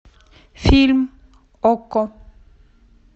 фильм окко